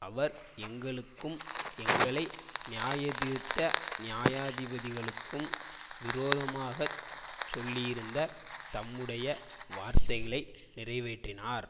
அவர் எங்களுக்கும் எங்களை நியாயந்தீர்த்த நியாயாதிபதிகளுக்கும் விரோதமாகச் சொல்லியிருந்த தம்முடைய வார்த்தைகளை நிறைவேற்றினார்